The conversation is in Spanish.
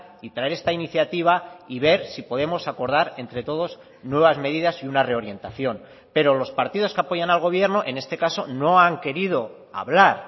y traer esta iniciativa y ver si podemos acordar entre todos nuevas medidas y una reorientación pero los partidos que apoyan al gobierno en este caso no han querido hablar